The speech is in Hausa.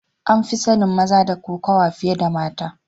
An fi sanin maza da kokawa fiye da mata.